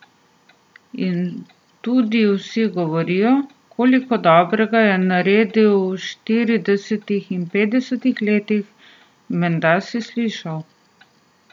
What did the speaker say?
In tudi vsi govorijo, koliko dobrega je naredil v štiridesetih in petdesetih letih, menda si slišal.